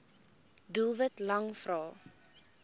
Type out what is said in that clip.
doelwit lang vrae